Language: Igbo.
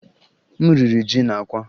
M riri ji na àkwá